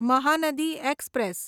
Mahanadi express